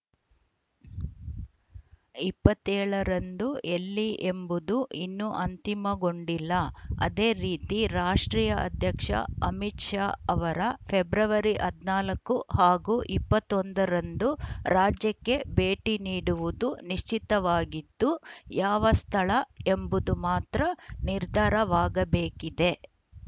ಇಪ್ಪತ್ತ್ ಏಳ ರಂದು ಎಲ್ಲಿ ಎಂಬುದು ಇನ್ನೂ ಅಂತಿಮಗೊಂಡಿಲ್ಲ ಅದೇ ರೀತಿ ರಾಷ್ಟ್ರೀಯ ಅಧ್ಯಕ್ಷ ಅಮಿತ್‌ ಶಾ ಅವರ ಫೆಬ್ರವರಿ ಹದಿನಾಲ್ಕು ಹಾಗೂ ಇಪ್ಪತ್ತ್ ಒಂದ ರಂದು ರಾಜ್ಯಕ್ಕೆ ಭೇಟಿ ನೀಡುವುದು ನಿಶ್ಚಿತವಾಗಿದ್ದು ಯಾವ ಸ್ಥಳ ಎಂಬುದು ಮಾತ್ರ ನಿರ್ಧಾರವಾಗಬೇಕಿದೆ